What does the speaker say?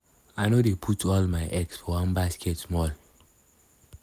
i no dey put all my eggs for one basket small-small hustle here and there na im dey pay bills.